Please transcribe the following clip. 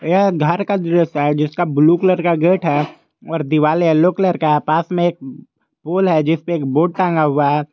यह घर का दृश्य है जिसका ब्लू कलर का गेट है और दिवाली येलो कलर का है पास में एक पोल है जिसपे एक बोड टांगा हुआ है।